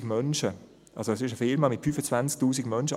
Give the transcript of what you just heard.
es ist also eine Firma mit 25 000 Menschen;